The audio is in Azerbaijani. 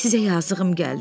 Sizə yazığım gəldi.